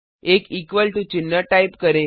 एक equal to चिन्ह type करें